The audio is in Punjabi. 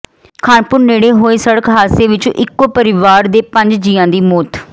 ਖਾਨਪੁਰ ਨੇੜੇ ਹੋਏ ਸੜਕ ਹਾਦਸੇ ਵਿੱਚ ਇਕੋ ਪਰਿਵਾਰ ਦੇ ਪੰਜ ਜੀਆਂ ਦੀ ਮੌਤ